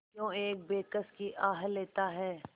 क्यों एक बेकस की आह लेता है